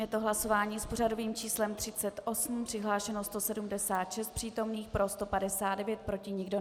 Je to hlasování s pořadovým číslem 38, přihlášeno 176 přítomných, pro 159, proti nikdo.